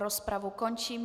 Rozpravu končím.